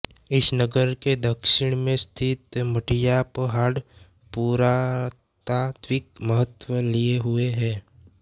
इस नगर के दक्षिण में स्थित मढ़ियापहाड़ पुरातात्विक महत्व लिये हुये है